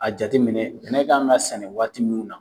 A jate minɛ n'e k'an ka sɛnɛ waati minnu na